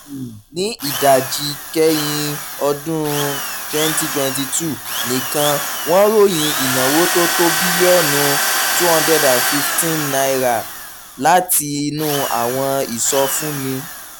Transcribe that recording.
um ní ìdajì kẹ́yìn ọdún twenty twenty two nìkan wọ́n ròyìn ìnáwó tó tó bílíọ̀nù n two hundred fifteen látinú àwọn ìsọfúnni.